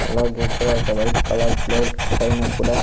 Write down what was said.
అలాగే ఇక్కడ ఒక వైట్ కలర్ ప్లేట్ పైన కుడా--